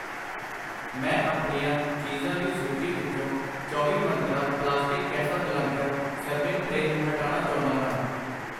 ਮੈਂ ਆਪਣੀਆਂ ਚੀਜ਼ਾਂ ਦੀ ਸੂਚੀ ਵਿੱਚੋ ਚੌਵੀ ਮੰਤਰਾਂ ਪਲਾਸਟਿਕ ਕੈਸਾਬਲਾਂਕਾ ਸਰਵਿੰਗ ਟਰੇ ਨੂੰ ਹਟਾਨਾ ਚਾਹੁੰਦਾ ਹਾਂ I